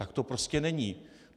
Tak to prostě není.